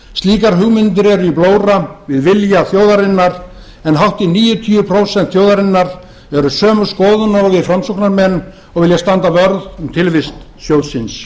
slíkar hugmyndir eru í blóra við vilja þjóðarinnar en hátt í níutíu prósent þjóðarinnar eru sömu skoðunar og við framsóknarmenn og vilja standa vörð um tilvist sjóðsins